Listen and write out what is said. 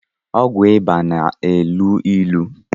ọgwụ ịba na-elu ilu